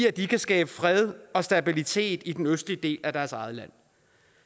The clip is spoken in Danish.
at de kan skabe fred og stabilitet i den østlige del af deres eget land